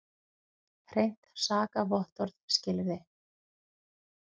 Hreint sakavottorð skilyrði.